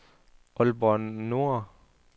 Aalborg Nordre